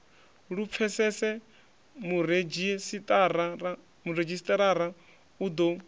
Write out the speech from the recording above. lu pfesese muredzhisitarara u ḓo